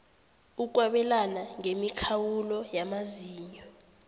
ukwabelana ngemikhawulo yamazinyo